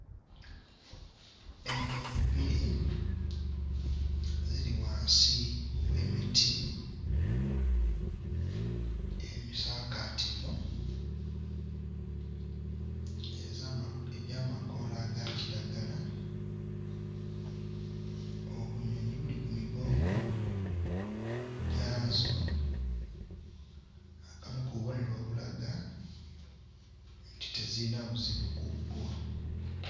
Enjovu bbiri ziri wansi w'emiti emisaakaativu ez'amako egy'amakoola aga kiragala, obunyonyi buli ku migongo gyazo, akamu ku bubonero obulaga nti teziyina buzibu ku bbwo